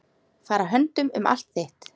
Fara höndum um allt þitt.